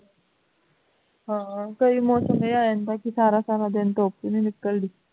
ਹਾਂ ਕਈ ਮੌਸਮ ਏਹੈ ਆ ਜਾਂਦਾ ਹੈ ਕਿ ਸਾਰਾ ਸਾਰਾ ਦਿਨ ਧੁੱਪ ਵੀ ਨਹੀਂ ਨਿਕਲਦੀ